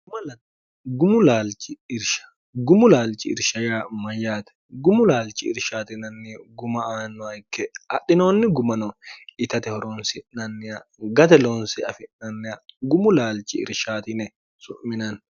gumu laalchi irshaya mayyaate gumu laalchi irshaatinanni guma aannoa ikke adhinoonni gumano itate horoonsi'nanniya gate loonse afi'nannia gumu laalchi irshaatine su'minanni